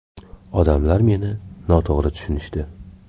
Odamlar meni noto‘g‘ri tushunishdi.